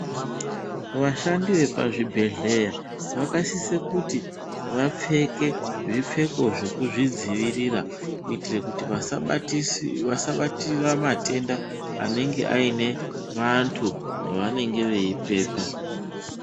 Washandi wepazvibhedhleya wakasisa kuti wapfeke, zvipfeko zvekuzvidziwirira kuitira kuti waaabatise, wasabatira matenda anenge aine wandu wawanenge wei pepa.